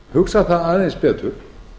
hugsa það aðeins betur